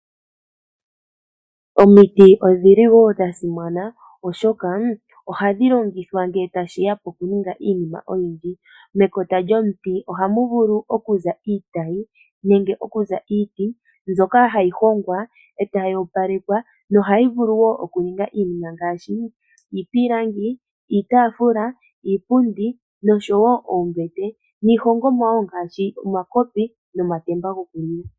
Omiti odhili wo dha simana oshoka ohadhi longithwa ngele tashiya poku ninga iinima oyindji. Mekota lyomuti ohamu vulu okuza iitayi nenge okuza iiti mbyoka hayi hongwa etayi opalekwa nohayi vulu wo okuninga iinima ngaashi iipilangi, iitaafula, iipundi noshowo oombete niihongomwa wo ngaashi omakopi nomatemba gokunwina.